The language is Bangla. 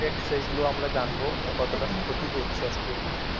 . সেগুলো আমরা জানবো কতটা ক্ষতি করছে actually